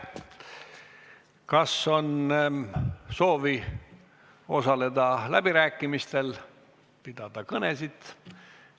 Kas on soovi osaleda läbirääkimistel, pidada kõnesid?